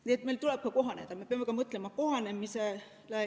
Nii et meil tuleb ka kohaneda, me peame mõtlema kohanemisele.